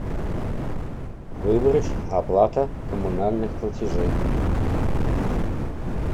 выбрать оплата коммунальных платежей